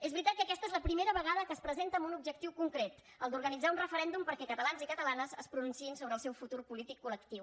és veritat que aquesta és la primera vegada que es presenta amb un objectiu concret el d’organitzar un referèndum perquè catalans i catalanes es pronunciïn sobre el seu futur polític col·lectiu